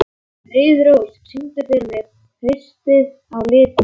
Friðrós, syngdu fyrir mig „Haustið á liti“.